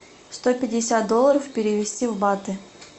сто пятьдесят долларов перевести в баты